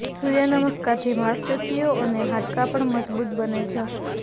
સૂર્ય નમસ્કારથી માંસપેશીઓ અને હાડકાં પણ મજબૂત બને છે